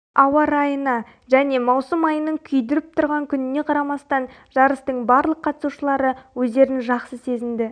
ауа райына және маусым айының күйдіріп тұрған күніне қарамастан жарыстың барлық қатысушылары өздерін жақсы сезінді